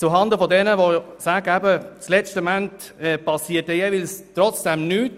Noch etwas zuhanden all jener, die sagen, am Ende geschehe trotzdem nichts: